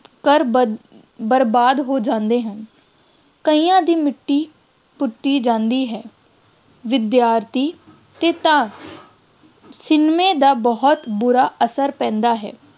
ਘਰ ਬਰ~ ਬਰਬਾਦ ਹੋ ਜਾਂਦੇ ਹਨ, ਕਈਆਂ ਦੀ ਮਿੱਟੀ ਪੁੱਟੀ ਜਾਂਦੀ ਹੈ, ਵਿਦਿਆਰਥੀ 'ਤੇ ਤਾਂ ਸਿਨੇਮੇ ਦਾ ਬਹੁਤ ਬੁਰਾ ਅਸਰ ਪੈਂਦਾ ਹੈ,